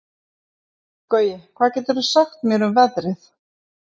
Gaui, hvað geturðu sagt mér um veðrið?